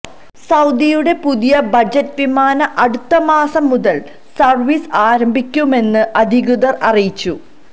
സൌദിയുടെ പുതിയ ബജറ്റ് വിമാനം അടുത്ത മാസം മുതല് സര്വീസ് ആരംഭിക്കുമെന്ന് അധികൃതര് അറിയിച്ചു